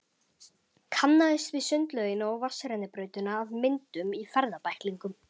Kannaðist við sundlaugina og vatnsrennibrautina af myndum í ferðabæklingnum.